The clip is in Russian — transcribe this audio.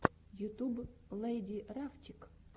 ютюб лэйди рафчик